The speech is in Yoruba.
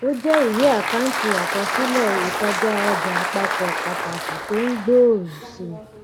ó jẹ ìwé àkáǹtì àkọsílẹ ìkọjáọjà àpapọ pàtàkì tó ń gbòòrò sí i